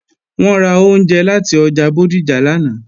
Wọ́n ra oúnjẹ láti ọjà Bódìjà lánàá